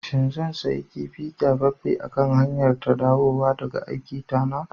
shin zan sayi kifi kyafaffen a kan hanyara ta dawowa daga aikiita na